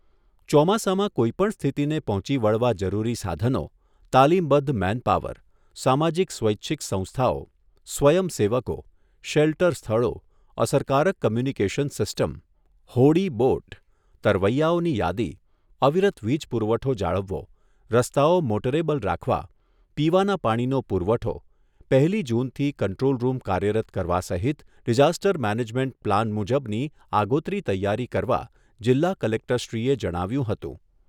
ચોમાસામાં કોઈપણ સ્થિતિને પહોંચી વળવા જરૂરી સાધનો, તાલીમબદ્ધ મેનપાવર, સમાજીક સ્વૈચ્છિક સંસ્થાઓ, સ્વયંસેવકો, શેલ્ટર સ્થળો, અસરકારક કોમ્યુનિકેશન સિસ્ટમ, હોડી બોટ, તરવૈયાઓની યાદી, અવિરત વિજ પુરવઠો જાળવવો, રસ્તાઓ મોટરેબલ રાખવા, પીવાના પાણીનો પૂરવઠો, પહેલી જૂનથી કન્ટ્રોલરૂમ કાર્યરત કરવા સહિત ડિઝાસ્ટર મેનેજમેન્ટ પ્લાન મુજબની આગોતરી તૈયારી કરવા જિલ્લા કલેક્ટરશ્રીએ જણાવ્યુંં હતું.